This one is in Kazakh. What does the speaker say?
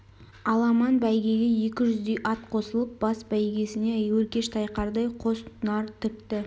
аламан бәйгеге екі жүздей ат қосылып бас бәйгесіне өркеші тайқардай қос нар тікті